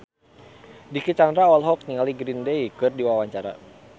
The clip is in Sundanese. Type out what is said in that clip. Dicky Chandra olohok ningali Green Day keur diwawancara